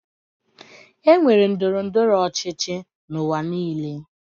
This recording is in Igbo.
E nwere ndọrọ ndọrọ ọchịchị n'ụwa niile.